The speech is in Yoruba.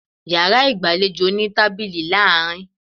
Yàrá ìgbàlejò ní tábìlì ní àárín